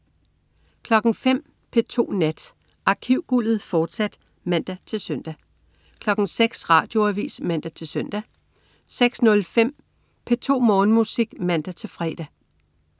05.00 P2 Nat. Arkivguldet, fortsat (man-søn) 06.00 Radioavis (man-søn) 06.05 P2 Morgenmusik (man-fre)